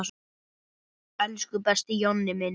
Elsku besti Jonni minn.